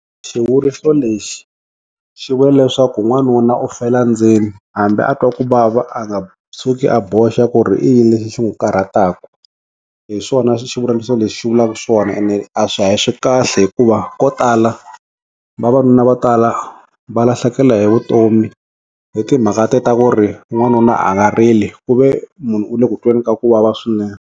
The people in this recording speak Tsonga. Xivuriso lexi xi vula leswaku n'wanuna u fela ndzeni hambi a twa ku vava a nga tshuki a boxa ku ri i yini lexi xi n'wi karhataku hi swona xivuriso lexi xi vulaka swona ene a swi a swi kahle hikuva ko tala vavanuna vo tala va lahlekela hi vutomi hi timhaka te ta ku ri n'wanuna a nga rili ku ve munhu u le ku tweni ka ku vava swinene.